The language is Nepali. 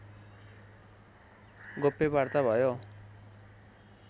गोप्य वार्ता भयो